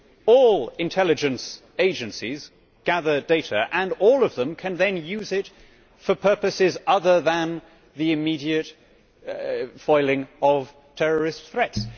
All intelligence agencies gather data and all of them can then use it for purposes other than the immediate foiling of terrorist threats.